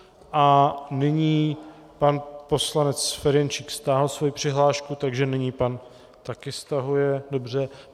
A nyní pan poslanec Ferjenčík stáhl svoji přihlášku, takže nyní pan... také stahuje, dobře.